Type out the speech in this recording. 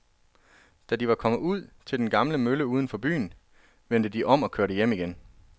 Da de var kommet ud til den gamle mølle uden for byen, vendte de om og kørte hjem igen.